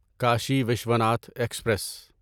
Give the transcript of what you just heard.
Kashi Vishwanath express